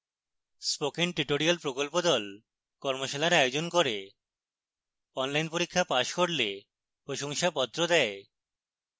spoken tutorial প্রকল্প the কর্মশালার আয়োজন করে অনলাইন পরীক্ষা পাস করলে প্রশংসাপত্র দেয়